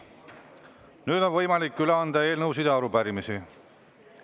Nüüd on võimalik üle anda eelnõusid ja arupärimisi.